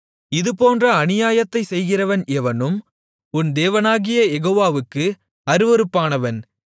இதுபோன்ற அநியாயத்தைச் செய்கிறவன் எவனும் உன் தேவனாகிய யெகோவாவுக்கு அருவருப்பானவன்